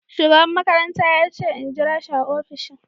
shugaban makaranta yace in jirashi a opishin.